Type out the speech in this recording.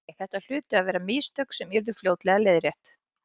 Nei, nei, þetta hlutu að vera mistök sem yrðu fljótlega leiðrétt.